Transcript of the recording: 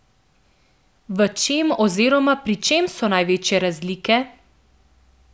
V čem oziroma pri čem so največje razlike?